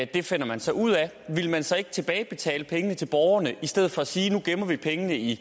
det finder man så ud af ville man så ikke tilbagebetale pengene til borgerne i stedet for at sige nu gemmer vi pengene i